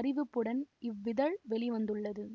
அறிவிப்புடன் இவ்விதழ் வெளி வந்துள்ளது